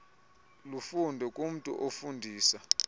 lufunde kumntu ofundisa